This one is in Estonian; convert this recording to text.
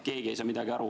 Keegi ei saa midagi aru.